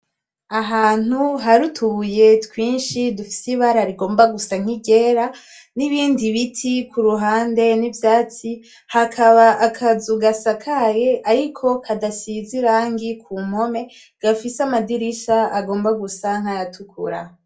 Ahantu hari utubuye twinshi dufise ibara rigomba gusa nki ryera n'ibindi biti kuruhande n'ivyatsi, hakaba akazu gasakaye ariko kadasize irangi gafise amadirisha agomba gusa nkaya tukura.